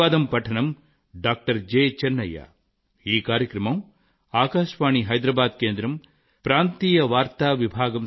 అనేకానేక ధన్యవాదాలు